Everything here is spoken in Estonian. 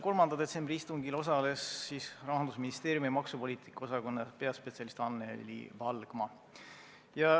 3. detsembri istungil osales Rahandusministeeriumi maksupoliitika osakonna peaspetsialist Anneli Valgma.